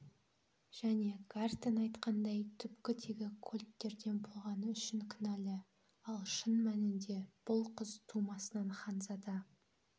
және гартен айтқандай түпкі тегі кольттерден болғаны үшін кінәлі ал шын мәнінде бұл қыз тумысынан ханзада